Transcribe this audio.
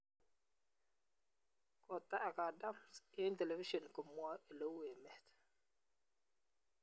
Kotaak Adams eng television komwae oleu emet